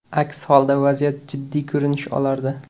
Aks holda vaziyat jiddiy ko‘rinish olardi.